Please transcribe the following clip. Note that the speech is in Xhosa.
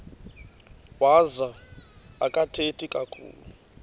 wazo akathethi kakhulu